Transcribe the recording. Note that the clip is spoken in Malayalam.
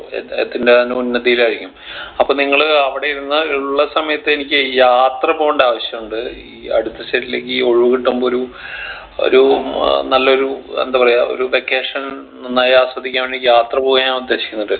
അത് അതിന്റെ അങ്ങ് ഉന്നതിലായിരിക്കും അപ്പൊ നിങ്ങൾ അവിടെ ഇരുന്ന് ഉള്ള സമയത്ത് എനിക്ക് യാത്ര പോണ്ട ആവശ്യുണ്ട് ഈ അടുത്തസല്ലെങ്കി ഒഴിവ് കിട്ടുമ്പോ ഒരു ഒരു നല്ലൊരു എന്താ പറയാ ഒരു vacation നന്നായി ആസ്വദിക്കാൻ വേണ്ടിക്ക് യാത്ര പോകാൻ ഞാൻ ഉദ്ദേശിക്കുന്നത്